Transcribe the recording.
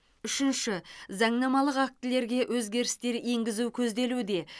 үшінші заңнамалық актілерге өзгерістер енгізу көзделуде